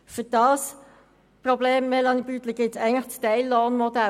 Für dieses Problem, Melanie Beutler, gibt es eigentlich das Teillohnmodell.